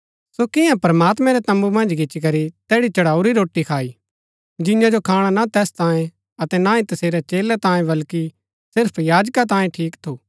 सो किआं प्रमात्मैं रै तम्बू मन्ज गिच्ची करी तैड़ी चढ़ाऊरी रोटी खाई जिंआ जो खाणा ना तैस तांयें अतै ना ही तसेरै चेलै तांयें वल्कि सिर्फ याजका तांयें ठीक थु